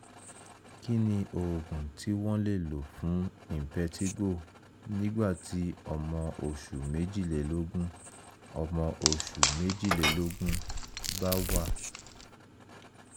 kí ni oògùn tí wọ́n lè lò fún impetigo nígbà tí ọmọ oṣù méjìlélógún ọmọ oṣù méjìlélógún bá wà?